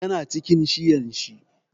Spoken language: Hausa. Ya na cikin shiyan shi.